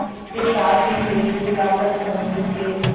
इसके साथ ही एक शिला पर तमिल के